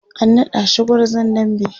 an naɗa shi gwarzon dambe